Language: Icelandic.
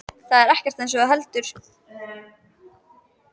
Það er ekkert eins og þú heldur.